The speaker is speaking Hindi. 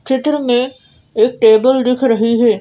चित्र में एक टेबल दिख रही है।